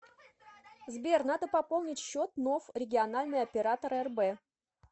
сбер надо пополнить счет ноф региональный оператор рб